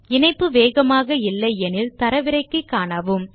இணைப்பு வேகமாக இல்லை எனில் தரவிறக்கி காணலாம்